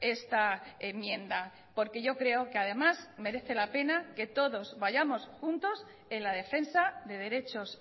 esta enmienda porque yo creo que además merece la pena que todos vayamos juntos en la defensa de derechos